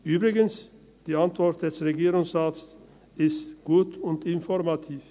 Übrigens ist die Antwort des Regierungsrates gut und informativ.